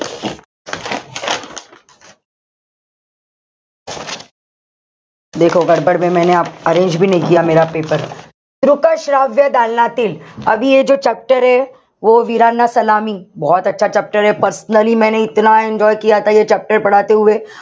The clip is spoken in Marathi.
arrange paper दृक श्राव्य दालनातील chapter वीरांना सलामी chapter personally enjoy chapter